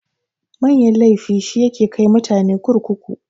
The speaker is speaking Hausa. Manyan laifi shi yake kai mutane kurkuku.